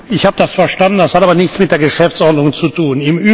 Ich habe das verstanden, es hat aber nichts mit der Geschäftsordnung zu tun.